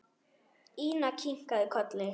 Ína kinkaði kolli.